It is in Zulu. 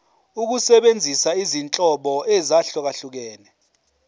ukusebenzisa izinhlobo ezahlukehlukene